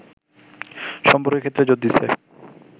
সম্পর্কের ক্ষেত্রে জোর দিচ্ছে